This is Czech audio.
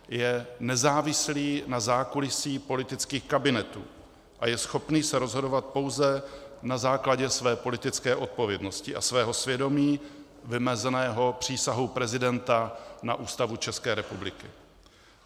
Je nezávislý na zákulisí politických kabinetů a je schopný se rozhodovat pouze na základě své politické odpovědnosti a svého svědomí vymezeného přísahou prezidenta na Ústavu České republiky.